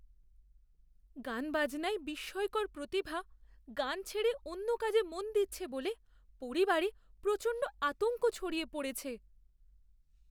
গানবাজনায় বিস্ময়কর প্রতিভা গান ছেড়ে অন্য কাজে মন দিচ্ছে বলে পরিবারে প্রচণ্ড আতঙ্ক ছড়িয়ে পড়েছে!